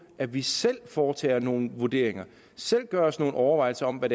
at vi selv foretager nogle vurderinger selv gør os nogle overvejelser om hvad